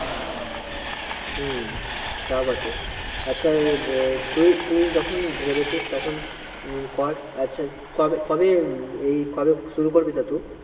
হম তাও বটে আচ্ছা আহ তুই তুই যখন ভেবেছিস তখন উম কর আচ্ছা কবে, কবে এ কবে শুরু করবি